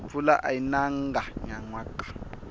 mpfula ayi nanga nyanwaka